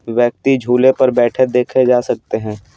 व्यक्ति झूले पर बैठे देखे जा सकते हैं ।